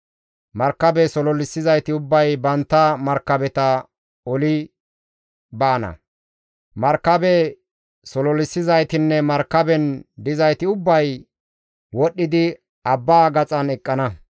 Markabe sololissizayti ubbay bantta markabeta oli baana; markabe sololissizaytinne markaben dizayti ubbay wodhdhidi abbaa gaxan eqqana.